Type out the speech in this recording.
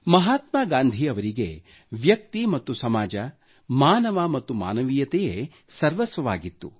ಮಹಾತ್ಮಾ ಗಾಂಧೀ ಅವರಿಗೆ ವ್ಯಕ್ತಿ ಮತ್ತು ಸಮಾಜ ಮಾನವ ಮತ್ತು ಮಾನವೀಯತೆಯೇ ಸರ್ವಸ್ವವಾಗಿತ್ತು